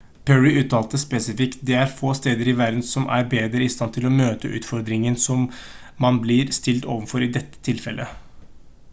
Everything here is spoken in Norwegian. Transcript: perry uttalte spesifikt «det er få steder i verden som er bedre i stand til å møte utfordringen man blir stilt overfor i dette tilfellet»